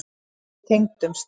En við tengdumst.